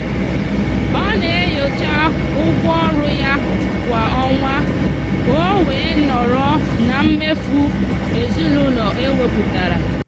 ọ na-enyocha ụgwọ ọrụ ya kwa ọnwa ka o wee nọrọ na mmefu ezinụụlọ e wepụtara.